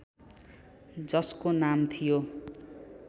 जसको नाम थियो ।